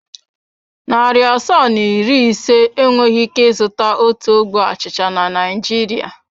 Narị asaa na iri ise enweghị ike ịzụta otu ogbe achịcha na Naịjirịa.